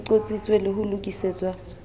e qotsitswe le ho lokisetswa